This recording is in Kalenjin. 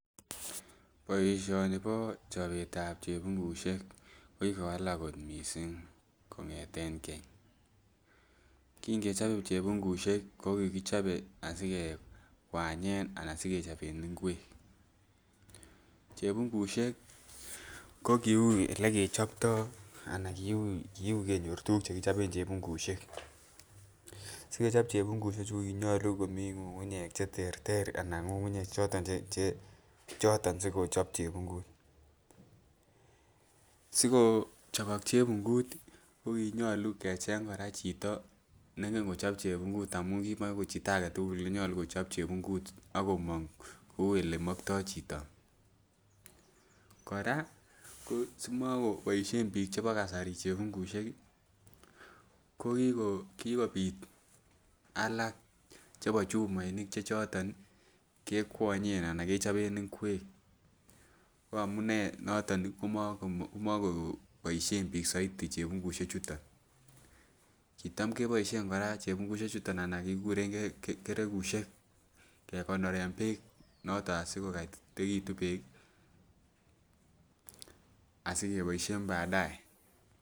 Boishoni bo chobet ab chepungushek ko kikowalak kot missing kongeten Keny, kin kechope chepungushek ko kikichope asikekwanyen anan sikechopen ingwek. Chepungushek ko kiui ole kechopto ana kiui kenyor tukuk chekichoben chepungushek, sikechop chepungushek chuu ko konyolu kimii ngungunyek cheterter anan ngungunyek choton che choton chekochop chepungut, sikochobok chepungut tii ko konyolu Koraa kecheng Koraa chito nengen kochop chepungut amun kimo ko chito agetukul nengen kochop chepungut ako mong kou ole molto chito. Koraa simokoboishen bik chebo kasari chepungushek kii kokikobit alak chebo chumoinik che choton nii kekwonyen anan kechopen ingwek ko amunee noton nii komoko komokoboishen bik souti chepungushek chuton. Kitam keboishen Koraa chepungushek chuton anan kikuren gee keregushek kekonoren beek noton asikokoyitekitun beek asikeboishen badye.